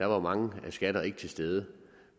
var mange skatter ikke til stede